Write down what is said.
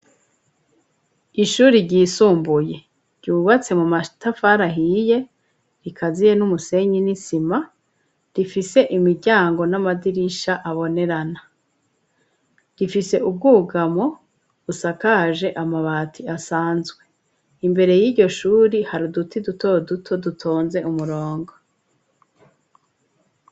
Ishuri ryisumbuye ryubatse mu matafari ahiye rikaziye n'umusenyi n'isima rifise imiryango n'amadirisha abonerana, rifise ubwugamo busakaje amabati asanzwe. Imbere y'iryo shuri hari uduti duto duto dutonze umurongo.